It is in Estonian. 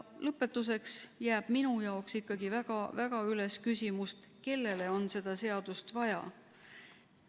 Lõpetuseks jääb minu jaoks ikkagi väga-väga üles küsimus, kellele on seda seadust vaja.